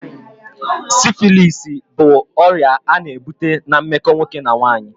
Sifilisi bụ ọrịa a na-ebute na meko nwoke na nwaanyị